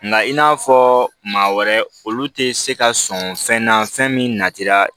Nka i n'a fɔ maa wɛrɛ olu tɛ se ka sɔn fɛn na fɛn min natira